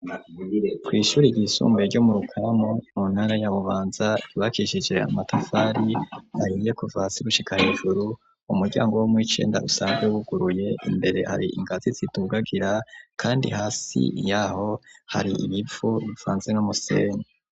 Kw' ishuri ry'isumbuye ryo mu rukaramu mu ntara ya bubanza ibakishige amatafari ahiye kuvaasigushikahijuru umuryango wo muicenda usanzwe wuguruye imbere hari ingati zitugagira kandi hasi yaho hari ibipfu bifanze n'umusenyi.